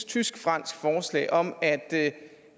tysk fransk forslag om at